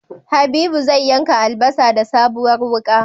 Habibu zai yanka albasa da sabuwar wuka